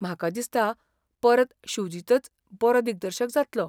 म्हाका दिसता परत शुजितच बरो दिग्दर्शक जातलो.